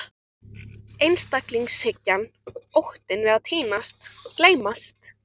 Einstaklingshyggjan, óttinn við að týnast, gleymast.